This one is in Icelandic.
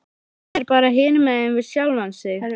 Hann er bara hinumegin við sjálfan sig.